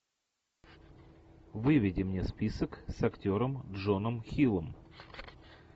выведи мне список с актером джоном хиллом